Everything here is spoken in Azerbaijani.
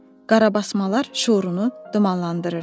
Qarabasmalar şüurunu dumanlandırırdı.